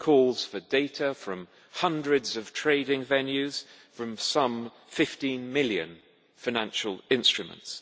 It calls for data from hundreds of trading venues, from some 15 million financial instruments.